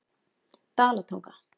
Dalatanga